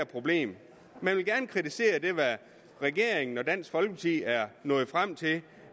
problem man vil gerne kritisere det regeringen og dansk folkeparti er nået frem til